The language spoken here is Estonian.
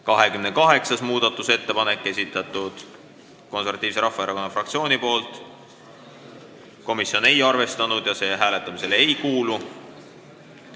28. muudatusettepaneku on esitanud Eesti Konservatiivse Rahvaerakonna fraktsioon, komisjon ei ole arvestanud ja see hääletamisele ei kuulu.